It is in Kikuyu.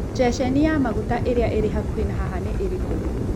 ceceni ya maguta ĩrĩa ĩrĩ hakuhĩ na haha nĩ ĩrĩkũ